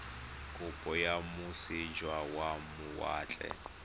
kopo kwa moseja wa mawatle